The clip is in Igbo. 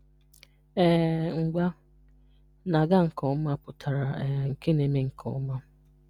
um Ngwa: na-aga nke ọma pụtara um nke na-eme nke ọma.